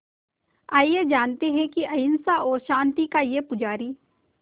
आइए जानते हैं कि अहिंसा और शांति का ये पुजारी